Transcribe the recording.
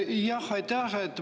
Jah, aitäh!